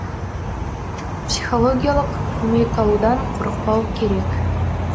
психологиялық көмек алудан қорықпау керек